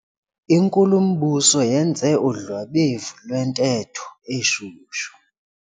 Inkulumbuso yenze udlwabevu lwentetho eshushu.